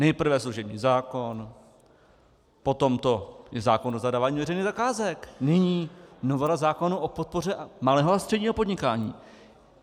Nejprve služební zákon, potom to je zákon o zadávání veřejných zakázek, nyní novela zákona o podpoře malého a středního podnikání.